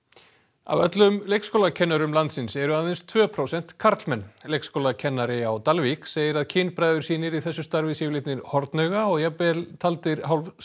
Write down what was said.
af öllum leikskólakennurum landsins eru aðeins tvö prósent karlmenn leikskólakennari á Dalvík segir að kynbræður sínir í þessu starfi séu hornauga og jafnvel taldir